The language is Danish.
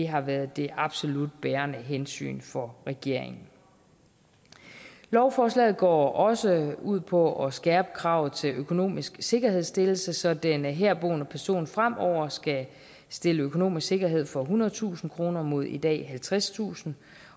har været det absolut bærende hensyn for regeringen lovforslaget går også ud på at skærpe kravet til økonomisk sikkerhedsstillelse så den herboende person fremover skal stille økonomisk sikkerhed for ethundredetusind kroner mod i dag halvtredstusind